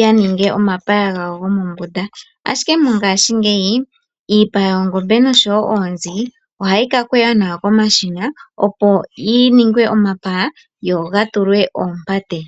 yaninge omapaya gawo gomombunda, Ashike mongaashingeyi iipa yoongombe noshowo oonzi ohayi ka longwa nawa komashina opo yiningwe omapaya go gatulwe oompate.